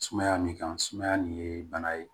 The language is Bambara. Sumaya min kan sumaya nin ye bana ye